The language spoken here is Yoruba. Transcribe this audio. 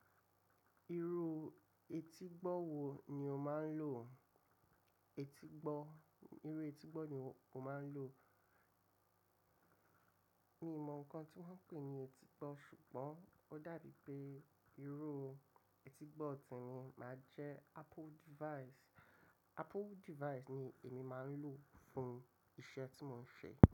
Irú etígbọ́ wo ni o máa ń lò? Etígbọ́, irú etígbọ́ ni o máa ń lò? Mi ò mọ nǹkan tí wọ́n ń pè ní etígbọ́ ṣùgbọ́n ó dàbí pé irú etígbọ́ tí emi máa ń jẹ Apple device. Apple device ni èmi máa ń lò fún iṣẹ́ tí mò ń ṣe.